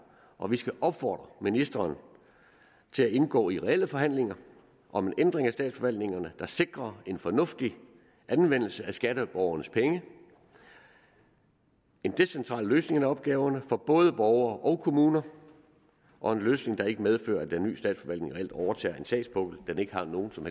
og vi skal opfordre ministeren til at indgå i reelle forhandlinger om en ændring af statsforvaltningerne der sikrer en fornuftig anvendelse af skatteborgernes penge en decentral løsning af opgaverne for både borgere og kommuner og en løsning der ikke medfører at den nye statsforvaltning reelt overtager en sagspukkel den ikke har nogen som